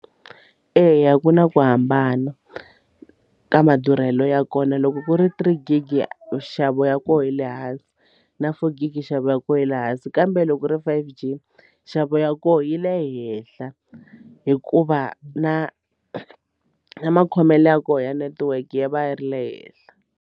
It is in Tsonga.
Eya ku na ku hambana ka madurhelo ya kona loko ku ri three gig nxavo ya koho yi le hansi na four gig nxavo ya kona yi le hansi ka kambe loko ri five G nxavo ya koho yi le henhla hikuva na na makhomelo ya kona ya network yi va yi ri le henhla.